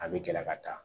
A bɛ gɛlɛya ka taa